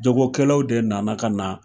Jagokɛlaw de nana ka na.